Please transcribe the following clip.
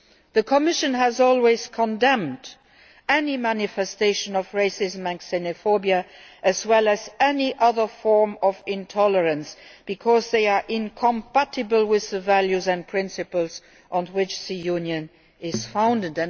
The Commission has always condemned any manifestation of racism and xenophobia as well as any other form of intolerance, because they are incompatible with the values and principles on which the Union is founded